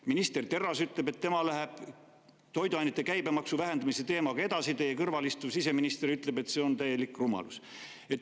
Minister Terras ütleb, et tema läheb toiduainete käibemaksu vähendamise teemaga edasi, samas teie kõrval istuv siseminister ütleb, et see on täielik rumalus.